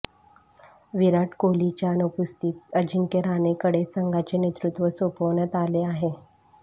विराट कोहलीच्या अनुपस्थितीत अजिंक्य रहाणेकडे संघाचे नेतृत्व सोपवण्यात आले आहे